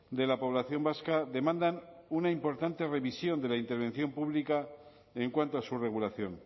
de la población vasca demandan una importante revisión de la intervención pública en cuanto a su regulación